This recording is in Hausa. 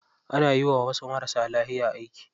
Ana yiwa wasu marasa lafiya aiki.